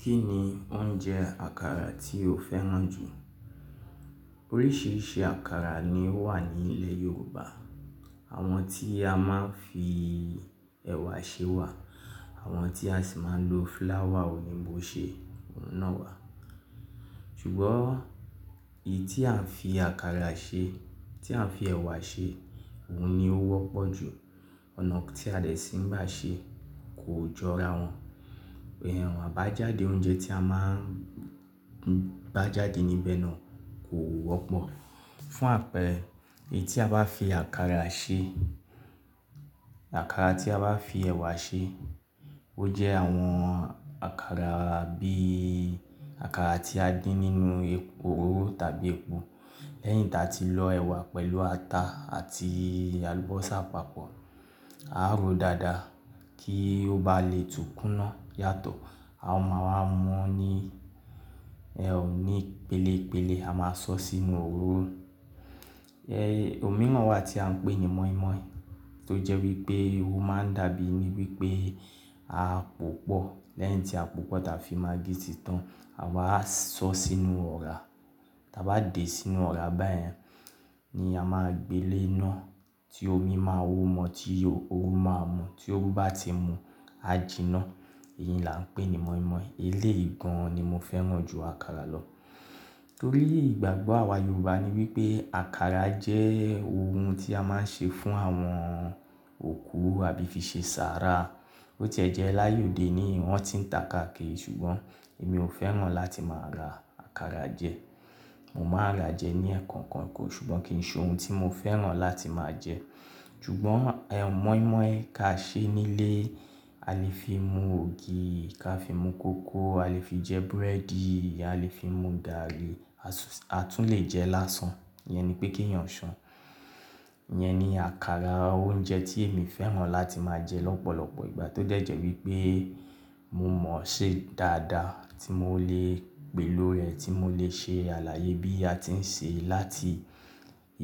Kí ni oúnjẹ àkàrà tí o fẹ́ràn jù? Oríṣiríṣi àkàrà ni ó wà ní ilẹ̀ Yorùbá. Àwọn tí a máa ń fi ẹ̀wà ṣe wà, àwọn tí a sì máa ń lo flour òyìnbó ṣe, òun náà wà. Ṣùgbọ́n èyí tí a ń fi àkàrà ṣe, tí a ń fi ẹ̀wà ṣe, òun ni ó wọ́pọ̀ jù. Ọ̀nà tí a dẹ̀ sì ń gbá ṣe kò jọ ara wọn. Àwọn àbájáde oúnjẹ tí a máa ń bá jáde níbẹ̀ náà kò wọ́pọ̀. Fún àpẹẹrẹ, èyí tí a bá fi àkàrà ṣe, àkàrà tí a bá fi ẹ̀wà ṣe, ó jẹ́ àwọn àkàrà bí àkàrà tí a dín nínú epo oró tàbí epo. Lẹ́yìn tí a ti lọ ẹ̀wà pẹ̀lú ata àti àlùbọ́sà papọ̀, á ro dáadáa kí ó bá lè túkúná yàtọ̀. A ó máa wá mọ ní, ẹ ò ní pélépélé, a máa sọ sí inú òróró ẹ̀yí òmíràn wà tí à ń pè ní mọ̀í-mọ̀í tó jẹ́ wípé óhun máa ń dàbí wípé a pòpọ̀. Lẹ́yìn tí a pòpọ̀ táa fi maggi ti tán, àwa á sọ sí inú ọ̀rá. Taa bá dé sí inú ọ̀rá báyẹn ni a máa gbé lé iná tí omi máa wó mọ, tí òru máa mú. Tí òru bá ti mu, a jí iná. Èyí ni à ń pè ní mọ̀í-mọ̀í. Elé yì gan ni mo fẹ́ràn jù àkàrà lọ. Torí ìgbàgbọ́ àwa Yorùbá ni wípé àkàrà jẹ́ ohun tí a máa ń ṣe fún àwọn òkú àbí fi ṣe sàárà. Ó ti ẹ̀ jẹ́ láyé òde ni wọ́n ti ń tà káàkiri ṣùgbọ́n èmi ò fẹ́ràn láti máa ra àkàrà jẹ. Mo máa rà jẹ ní ẹẹ̀kan kan kọ́ ṣùgbọ́n kì í ṣe ohun tí mo fẹ́ràn láti máa jẹ. Ṣùgbọ́n ẹ̀ mọ̀í-mọ̀í ká ṣe nílé, a lè fi mu ògì, ká fi mu kókò, a lè fi jẹ búrẹ́dì, a lè fi mu gààrí, a tún lè jẹ lásán. Ìyẹn ni pé kí èèyàn ṣàn. Ìyẹn ni àkàrà oúnjẹ tí èmi fẹ́ràn láti máa jẹ lọ́pọ̀lọpọ̀ ìgbà tó dẹ̀ jẹ́ wípé mo mọ̀ ṣe dáadáa tí mo lè pèló rẹ̀, tí mo lè ṣe alààyè bí a ti ń ṣe láti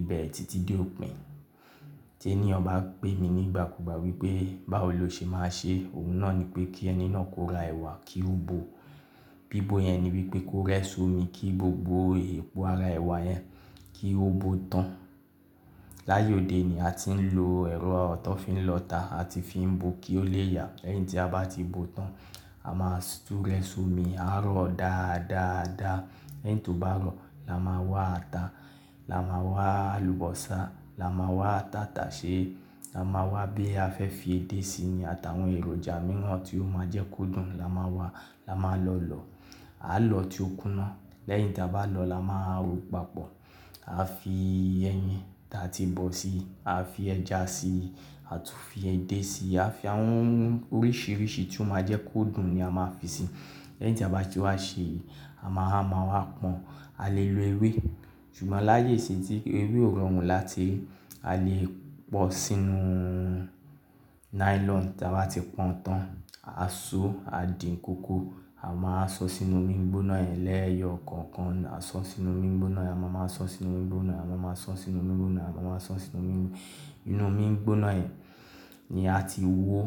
ibẹ̀rẹ̀ títí dé òpin. Tí ẹniyàn bá pé mi nígbàkúgbà wípé báwo lo ṣe máa ṣe? Òun náà ni pé kí ẹni náà kó ra ẹ̀wà kí ó bò. Bí bó yẹn ni wípé kó rẹ́ sómi kí gbogbo epo ara ẹ̀wà yẹn kí ó bó tán. Láyé òde ni a ti ń lo ẹ̀rọ tó fi ń lọ́ta, a ti fi ń bò kí ó lè yà. Lẹ́yìn tí a bá ti bó tán, a máa tú rẹ sómi, á rọ̀ dáadáa dáadáa. Lẹ́yìn tó bá rọ̀, la máa wá ata, la máa wá àlùbọ́sà, la máa wá tàtàṣẹ́, la máa wá bí a fẹ́ fi edé síi ni àtàwọn èròjà mìíràn tí ó máa jẹ́ kó dùn la máa wá, la máa lọ lọ̀. A lọ tí ó kúná. Lẹ́yìn tí a bá lọ lọ la máa ro papọ̀. A fi ẹyin tí a ti bọ̀ si, a fi ẹja si, a tún fi edé si, a fi àwọn oríṣiríṣi tí ó máa jẹ́ kó dùn ni a máa fi si. Lẹ́yìn tí a bá ti wá ṣe, a máa wá pọ́n. A lè lo ewé, ṣùgbọ́n láyé ìsìn tí ewé ò rọrùn láti rí, a lè pọ̀ sínú nylon tí a bá ti pọ̀n tán. A so, a dín kókò, a máa sọ sínú omi gbóná ẹ lẹ́ẹ̀yọ kọ̀ọ̀kan. A sọ sínú omi gbóná ẹ, a máa máa sọ sínú omi gbóná ẹ, a máa máa sọ sínú omi gbóná ẹ, a máa sọ sínú omi. Inú omi gbóná ẹ ni a ti wó.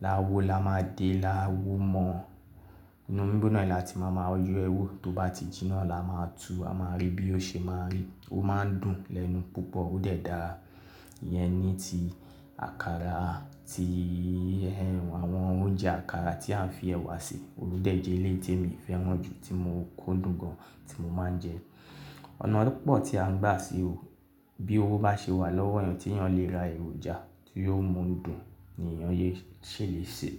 La wó la máa de, la wó mọ. Inú omi gbóná ẹ là tí màá máa yọ ẹ́ wò. Tó bá ti jí iná là máa tú, a máa rí bí ó ṣe máa rí. Ó máa ń dùn lẹ́nu púpọ̀, ó dẹ̀ dára. Ìyẹn ni ti àkàrà, ti àwọn oúnjẹ àkàrà tí à ń fi ẹ̀wà ṣe. Òun dẹ̀ jẹ́ eléyì tí èmi fẹ́ràn jù tí mo kúndùn gan tí mo máa ń jẹ. Ọ̀nà púpọ̀ tí à ń gbà ṣe òun bí owó bá ṣe wà lọ́wọ́ ẹ̀yàn tí èèyàn lè ra èròjà tí yóò mú un dùn ni èèyàn yóò ṣe lè ṣe.